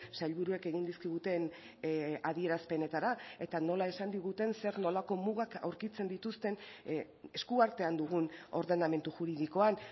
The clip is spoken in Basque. sailburuek egin dizkiguten adierazpenetara eta nola esan diguten zer nolako mugak aurkitzen dituzten eskuartean dugun ordenamendu juridikoan